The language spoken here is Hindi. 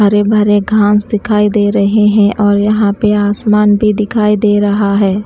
भरे भरे घांस दिखाई दे रहे हैं और यहाँ पर आसमान भी दिखाई दे रहा है।